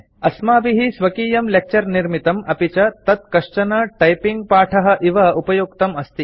अस्माभिः स्वकीयं लेक्चर निर्मितं अपि च तत् कश्चन टाइपिंगपाठः इव उपयुक्तम् अस्ति